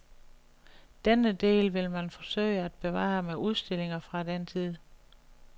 Denne del vil man forsøge at bevare med udstillinger fra den tid.